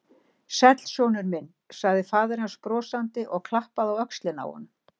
Sæll, sonur minn sagði faðir hans brosandi og klappaði á öxlina á honum.